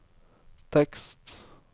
tekst